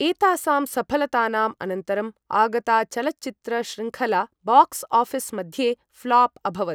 एतासां सफलतानाम् अनन्तरम् आगता चलच्चित्र शृङ्खला बाक्स्आफिस् मध्ये फ्लॉप् अभवत्।